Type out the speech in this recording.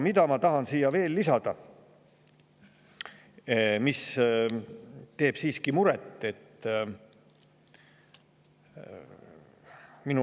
Ma tahan veel lisada seda, mis teeb mulle siiski muret.